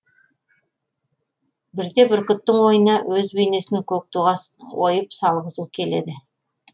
бірде бүркіттің ойына өз бейнесін көк туға ойып салғызу келеді